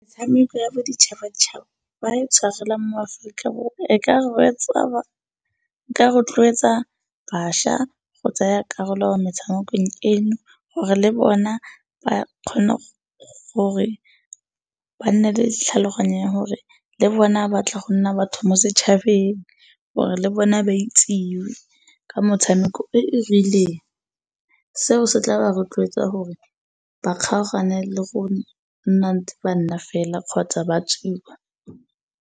Metshameko ya boditšhabatšhaba ba e tshwarela mo Aforika Borwa e ka rotloetsa bašwa go tsaya karolo mo metshamekong eno gore le bona ba kgone gore ba nne le tlhaloganya ya gore le bona ba tla go nna batho mo setšhabeng, gore le bone ba itsiwe ka motshameko e e rileng. Seo se tla ba rotloetsa gore ba kgaogane le go nna ntse ba nna fela kgotsa ba tsuba.